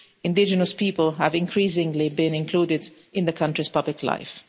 Indigenous people have increasingly been included in the country's public life.